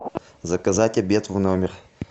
заказать обед в номер